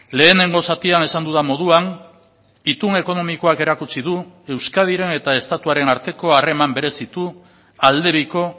lehenengo zatian esan dudan moduan itun ekonomikoak erakutsi du euskadiren eta estatuaren arteko harreman berezitu aldebiko